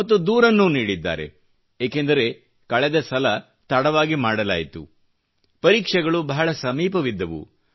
ಮತ್ತು ದೂರನ್ನೂ ನೀಡಿದ್ದಾರೆ ಏಕೆಂದರೆ ಕಳೆದ ಸಲ ತಡವಾಗಿ ಮಾಡಲಾಯಿತು ಪರೀಕ್ಷೆಗಳು ಬಹಳ ಸಮೀಪವಿದ್ದವು